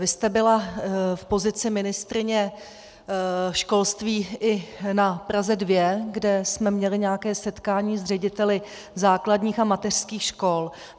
Vy jste byla v pozici ministryně školství i na Praze 2, kde jsme měli nějaké setkání s řediteli základních a mateřských škol.